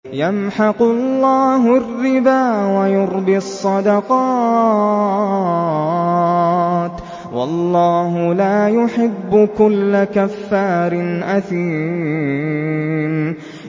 يَمْحَقُ اللَّهُ الرِّبَا وَيُرْبِي الصَّدَقَاتِ ۗ وَاللَّهُ لَا يُحِبُّ كُلَّ كَفَّارٍ أَثِيمٍ